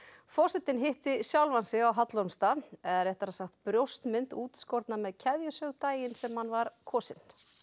forsetinn hitti sjálfan sig á Hallormsstað eða réttara sagt brjóstmynd útskorna með keðjusög daginn sem hann var kosinn